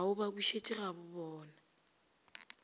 a o ba bušetše gagabobona